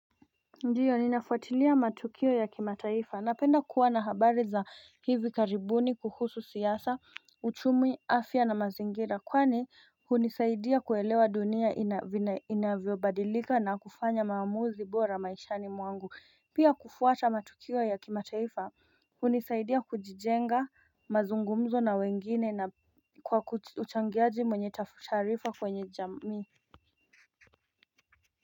Ndio ninafuatilia matukio ya kimataifa napenda kuwa na habari za hivi karibuni kuhusu siasa, uchumi afya na mazingira kwani hunisaidia kuelewa dunia inavyo badilika na kufanya maamuzi bora maishani mwangu Pia kufuata matukio ya kimataifa hunisaidia kujijenga mazungumzo na wengine na kwa uchangiaji mwenye taarifa kwenye jamii.